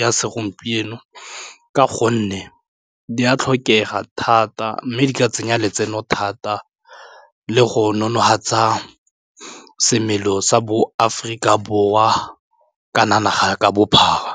ya segompieno ka gonne di a tlhokega thata thata mme di ka tsenya letseno thata le go nonofatsa semelo sa bo Aforika Borwa kana naga ka bophara.